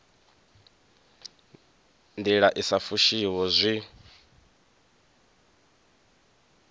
ndila i sa fushiho zwi